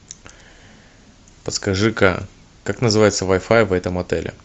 подскажи ка как называется вай фай в этом отеле